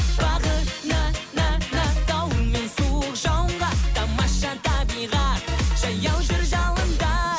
бағына на на дауыл мен суық жауынға тамаша табиғат жаяу жүр жауында